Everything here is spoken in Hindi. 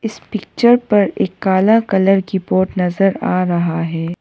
इस पिक्चर पर एक काला कलर की बोर्ड नजर आ रहा है।